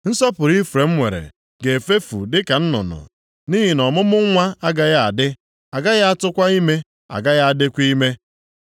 Nsọpụrụ Ifrem nwere ga-efefu dị ka nnụnụ, nʼihi na ọmụmụ nwa agaghị adị, a gaghị atụkwa ime, agaghị adịkwa ime.